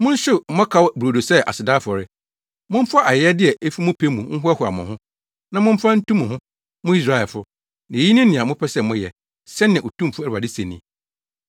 Monhyew mmɔkaw brodo sɛ aseda afɔre; Momfa ayɛyɛde a efi mo pɛ mu nhoahoa mo ho, na momfa ntu mo ho, mo Israelfo, na eyi ne nea mopɛ sɛ moyɛ,” sɛnea Otumfo Awurade se ni.